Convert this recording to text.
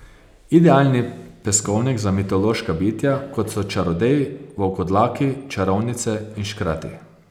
Idealni peskovnik za mitološka bitja, kot so čarodeji, volkodlaki, čarovnice in škrati.